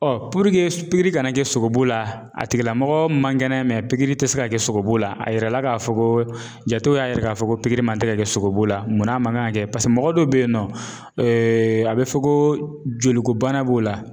kana kɛ sogobu la a tigilamɔgɔ man kɛnɛ tɛ se ka kɛ sogo la a yirala k'a fɔ ko jatew y'a yira k'a fɔ ko man tɛ ka kɛ sogobu la muna man kan ka kɛ paseke mɔgɔ dɔw beyiyinɔ a bɛ fɔ ko joliko bana b'o la.